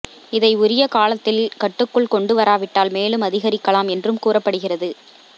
இதை உரிய காலத்தில் கட்டுக்குள் கொண்டு வராவிட்டால் மேலும் அதிகரிக்கலாம் என்றும் கூறப்படுகிறது